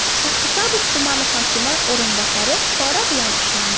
Shahrisabz tumani hokimi o‘rinbosari pora bilan ushlandi.